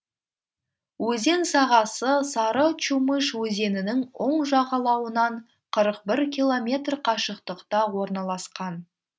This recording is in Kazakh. өзен сағасы сары чумыш өзенінің оң жағалауынан қырық бір километр қашықтықта орналасқан